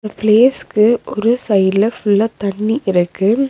பிளேஸ்கு ஒரு சைடுல ஃபுல்லா தண்ணி இருக்கு.